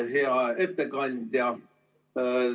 Hea ettekandja!